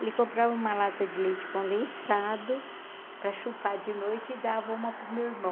Ele comprava uma lata de leite condensado para chupar de noite e dava uma para o meu irmão.